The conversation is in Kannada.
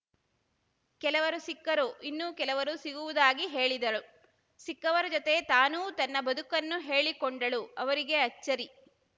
ಕೆಲವರು ಸಿಕ್ಕರು ಇನ್ನೂ ಕೆಲವರು ಸಿಗುವುದಾಗಿ ಹೇಳಿದಳು ಸಿಕ್ಕವರ ಜೊತೆ ತಾನೂ ತನ್ನ ಬದುಕನ್ನು ಹೇಳಿಕೊಂಡಳು ಅವರಿಗೆ ಅಚ್ಚರಿ